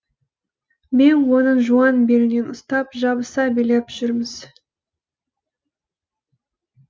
мен оның жуан белінен ұстап жабыса билеп жүрміз